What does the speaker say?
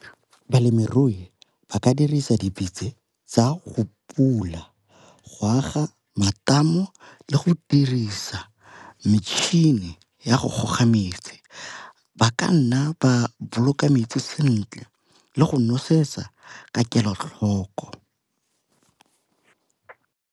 Balemirui ba ka dirisa tsa go pula go aga matamo le go dirisa metšhini ya go goga metsi, ba ka nna ba boloka metsi sentle le go nosetsa ka kelotlhoko.